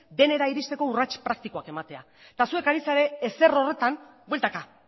denera iristeko urrats praktikoak ematea eta zuek ari zarete ezer horretan bueltaka